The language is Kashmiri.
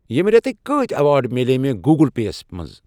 ییٚمہِ ریتٕکۍ کۭتۍ ریوارڑ مِلے مےٚ گوٗگٕل پے یَس منٛز؟